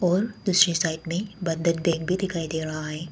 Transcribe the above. और दूसरे साइड में एक बंधन बैंक भी दिखाई दे रहा है।